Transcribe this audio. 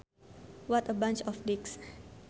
What a bunch of dicks